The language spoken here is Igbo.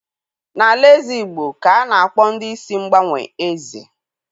N'alaeze Igbo ka a na-akpọ ndị isi mgbanwe Eze.